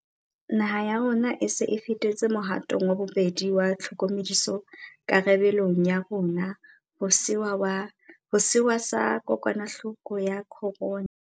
Naha ya bo rona e se e fetetse mohatong wa bobedi wa tlhokomediso karabe long ya rona ho sewa sa kokwanahloko ya corona.